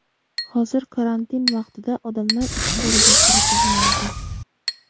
Hozir karantin vaqtida odamlar ichkariga kiritilmaydi.